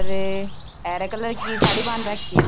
और हरा कलर की साड़ी बांध राखी है।